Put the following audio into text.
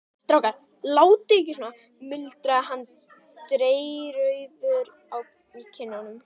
Strákar, látið ekki svona muldraði hann dreyrrauður í kinnum.